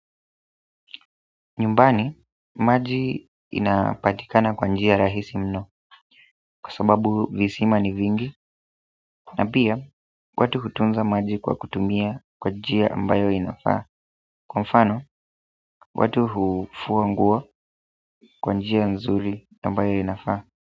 Nyumbani, maji inapatikana kwa njia rahisi mno, kwa sababu visima ni vingi, na pia, watu hutunza maji kwa kutumia kwa njia ambayo inafaa, kwa mfano, watu hufuanguo kwa njia nzuri ambayo inafaa.